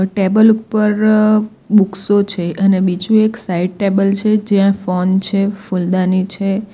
Table ઉપર બુકશો છે અને બીજું એક સાઈડ ટેબલ છે જ્યાં ફોન છે ફૂલદાની છે.